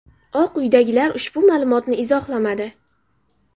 Oq uydagilar ushbu ma’lumotni izohlamadi.